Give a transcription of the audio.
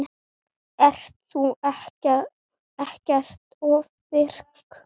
Ert þú ekkert ofvirk?